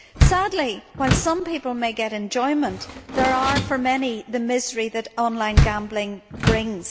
Sadly, while some people may get enjoyment, there are for many the miseries that online gambling brings.